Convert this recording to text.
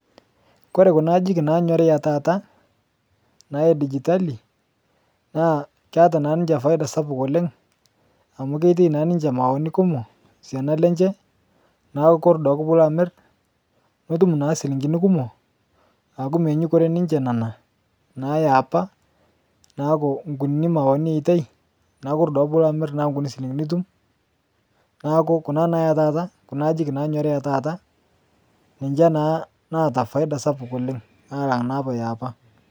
Kore kuna ajijik nanyorii tata edigitali naa keata naa ninche paida sapuk oleng amu ketiai naa niche mauani kumok siana lenche naaku kore duake puloamir nitum naa silingini kumo aku menyukore nana neaku nkuni mauni etiai naaku kore duake puloamir naaku nkuni silingini itum naaku kuna naa etata kuna ajijik nanyorii etata niche naa naata paida sapuk oleng alang naapa eapa.